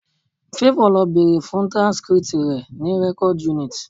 Favour lọ bèrè fún transcript rẹ̀ ní record unit